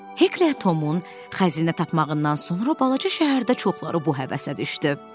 Hek Tomun xəzinə tapmağından sonra balaca şəhərdə çoxları bu həvəsə düşdü.